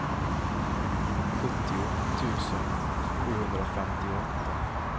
sjuttio tusen sjuhundrafemtioåtta